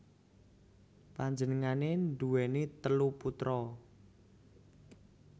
Panjenengané nduwèni telu putra